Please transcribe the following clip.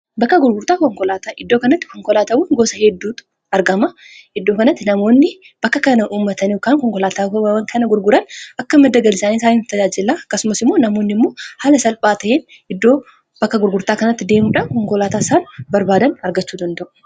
Bakka gurgurtaa konkolaataa iddoo kanatti konkolaatawwan gosa hedduutu argama iddoo kanatti namoonni bakka kana uummatani kan konkolaataawwan kana gurguran akka madda galiisaanii isaaniif tajaajilaa akkasumas immoo namoonni immoo haala salphaa ta'een iddoo bakka gurgurtaa kanatti deemuudhaan konkolaataa isaan barbaadan argachuu danda'u.